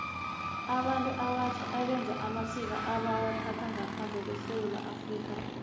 abantu abatjha beza namasiko wabo ebawathatha ngaphandle kwesewula afrika